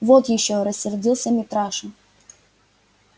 вот ещё рассердился митраша